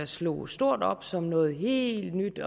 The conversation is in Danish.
slog stort op som noget helt nyt